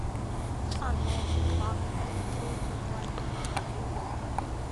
оно два смотреть онлайн